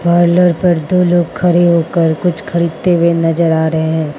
Parlour पर दो लोग खड़े होकर कुछ खरीदते हुए नजर आ रहे है।